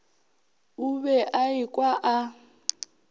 o be a ekwa a